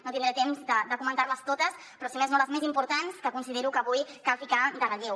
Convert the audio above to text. no tindré temps de comentar les totes però si més no les més importants que considero que avui cal posar en relleu